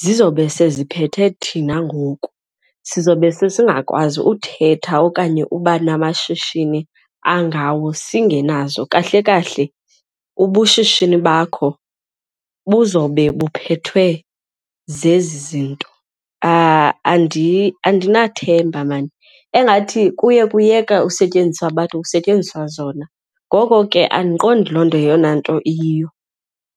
zizobe seziphethe thina ngoku sizobe sesingakwazi uthetha okanye uba namashishini angawo singenazo. Kahle kahle ubushishini bakho buzobe buphathwe zezi zinto. Andinathemba maan, engathi kuye kuyeka usetyenziswa bantu kusetyenziswa zona ngoko ke andiqondi loo nto yeyona nto iyiyo.